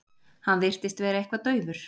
Hann virtist vera eitthvað daufur.